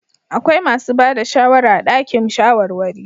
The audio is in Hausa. Akwai masu ba da shawara a dakin shawarwari.